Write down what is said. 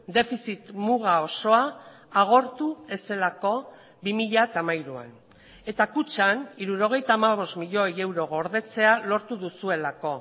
defizit muga osoa agortu ez zelako bi mila hamairuan eta kutxan hirurogeita hamabost milioi euro gordetzea lortu duzuelako